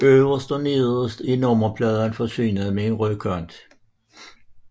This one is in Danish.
Øverst og nederst er nummerpladen forsynet med en rød kant